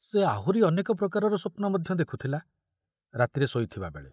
ସେ ଆହୁରି ଅନେକ ପ୍ରକାରର ସ୍ୱପ୍ନ ମଧ୍ୟ ଦେଖୁଥିଲା ରାତିରେ ଶୋଇଥିବା ବେଳେ।